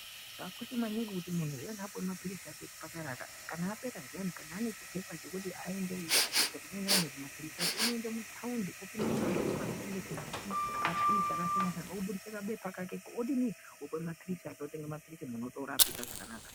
Zvakosha kuti muntu achinge apuwa mapirisi ake kuchipatara ka ,kana apera anechipepa chokuti aende chinoenderana nemapirisi acho, unoende mutaundi oende mumashopu unotengesa mapirisi akasiyana siyana oburitse kabepa kake otenga mapirisi muntu otorapike zvakanaka.